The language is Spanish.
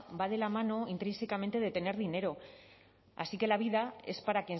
va de la mano intrínsecamente de tener dinero así que la vida es para